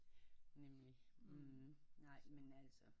Nemlig mhm men nej men altså